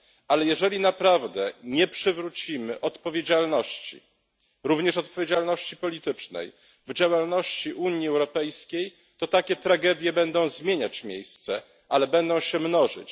Ale jeżeli naprawdę nie przywrócimy odpowiedzialności również odpowiedzialności politycznej w działalności Unii Europejskiej, to takie tragedie będą zmieniać miejsce, ale będą się mnożyć.